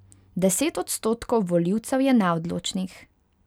Deset odstotkov volivcev je neodločnih.